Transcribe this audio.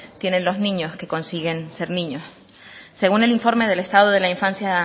tienen los niños que consiguen ser niños según el informe del estado de la infancia